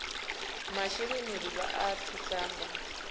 masheleni ri vha thusa nga